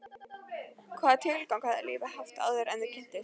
Hvaða tilgang hafði lífið haft áður en þau kynntust?